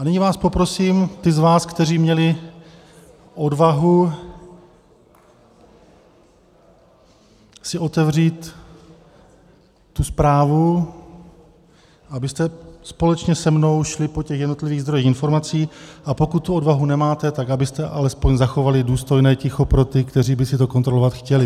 A nyní vás poprosím, ty z vás, kteří měli odvahu si otevřít tu zprávu, abyste společně se mnou šli po těch jednotlivých zdrojích informací, a pokud tu odvahu nemáte, tak abyste alespoň zachovali důstojné ticho pro ty, kteří by si to kontrolovat chtěli.